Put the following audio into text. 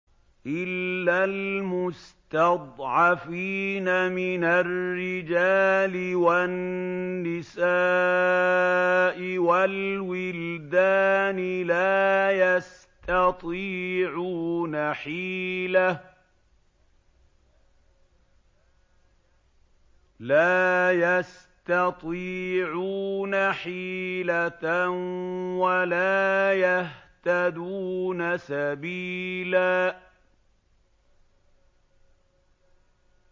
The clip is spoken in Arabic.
إِلَّا الْمُسْتَضْعَفِينَ مِنَ الرِّجَالِ وَالنِّسَاءِ وَالْوِلْدَانِ لَا يَسْتَطِيعُونَ حِيلَةً وَلَا يَهْتَدُونَ سَبِيلًا